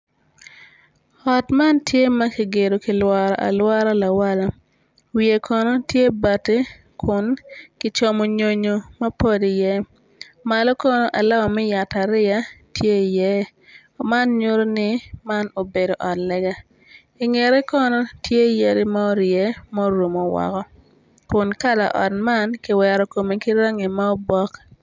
Ot man tye ma kigedo kilworo alwora ki lawala wiye kono tye bati kun kicomo nyonyo mapol iye malo kono alama me yat ariya tye iye man nyuto ni man obedo ot lega ingete kono tye yadi ma orye ma orumo woko kun kala ot man kiwero kome ki rangi ma obok.